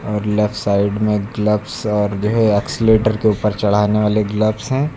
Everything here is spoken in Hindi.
और लेफ्ट साइड में ग्लव्स और जो है एक्सीलेटर के ऊपर चढ़ने वाले ग्लव्स हैं।